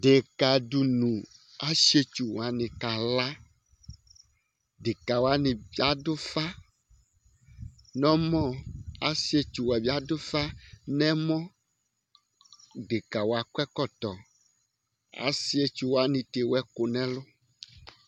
Deka dìní Asiɛtsu wani kala Deka wani adu ʋfa nʋ ɛmɔ Asiɛtsu wa bi adu ʋfa nʋ ɛmɔ Deka wa akɔ ɛkɔtɔ Asiɛtsu wani ta ewu ɛku nʋ ɛlu